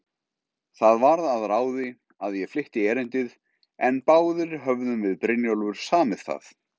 Það varð að ráði, að ég flytti erindið, en báðir höfðum við Brynjólfur samið það.